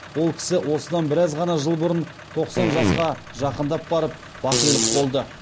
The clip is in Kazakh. ол кісі осыдан біраз ғана жыл бұрын тоқсан жасқа жақындап барып бақилық болды